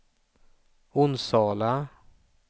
Onsala